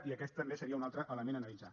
i aquest també seria un altre element a analitzar